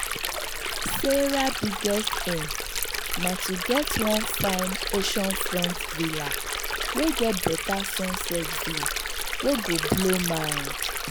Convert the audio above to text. sarah biggest aim na to get one fine oceanfront villa wey get better sunset view wey go blow mind.